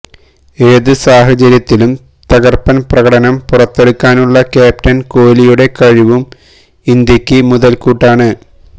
ഏത് സാഹചര്യത്തിലും തകര്പ്പന് പ്രകടനം പുറത്തെടുക്കാനുള്ള ക്യാപ്റ്റന് കോലിയുടെ കഴിവും ഇന്ത്യക്ക് മുതല്ക്കൂട്ടാണ്